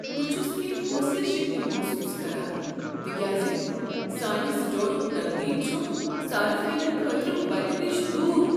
بہٕ چھس کٮ۪نٛہہ حوصلہ شکنی محسوس کران تکیاز سانہ سٹورک ترتیب چھ صارفینن خٲطرٕ وتہ نش دوٗر۔